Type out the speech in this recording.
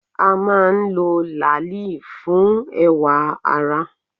A máa ń lo làálì fún ẹwà ara.